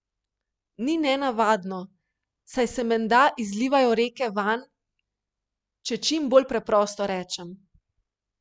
Ni nenavadno, saj se menda izlivajo reke vanj, če čim bolj preprosto rečem.